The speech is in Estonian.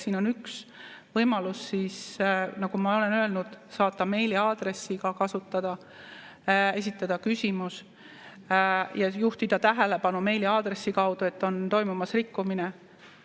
Siin on üks võimalus, nagu ma olen öelnud, saata meiliaadressile, esitada küsimus ja juhtida tähelepanu meiliaadressi kaudu, et on toimumas rikkumine.